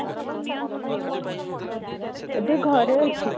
ଏବେ ଘରେ ଅଛି